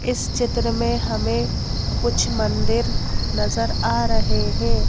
इस चित्र मे हमे कुछ मंदिर नजर आ रहे है।